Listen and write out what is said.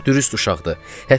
O çox dürüst uşaqdır.